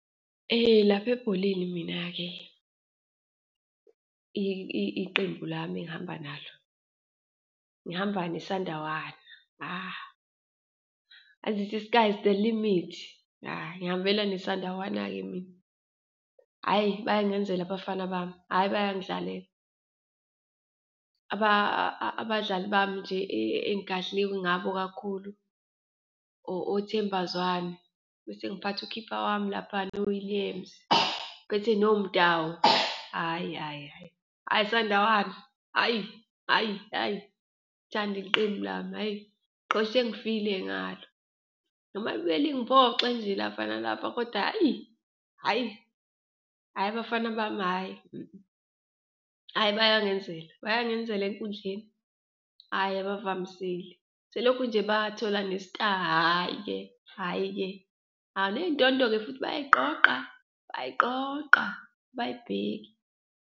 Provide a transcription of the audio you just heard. Lapha ebholeni mina-ke iqembu lami engihamba nalo, ngihamba neSandawana ezithi, sky is the limit, ngiyihambela neSandawana-ke mina. Hhayi, bayangenzela abafana bami, hhayi bayangidlalela. Abadlali bami nje engigadle ngabo kakhulu oThemba Zwane, bese ngiphathe u-keeper wami laphayana u-Williams, ngiphethe noMudau, hhayi, hhayi, hhayi, ayi iSandawana, hhayi, hhayi, hhayi. Ngithanda iqembu lami, hhayi, ngiqhoshe ngifile ngalo noma libuye lingiphoxe nje lapha nalapha kodwa hhayi, hhayi, hhayi abafana bami, hhayi , hhayi bayangenzela, bayangenzela enkundleni, hhayi abavamisile. Selokhu nje bathola ne-star hhayi-ke hhayi-ke, hhayi, neyindondo-ke futhi bayayiqoqa, bayayiqoqa abayibheki.